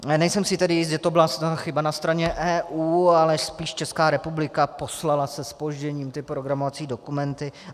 Nejsem si tedy jist, že to byla chyba na straně EU, ale spíše Česká republika poslala se zpožděním ty programovací dokumenty.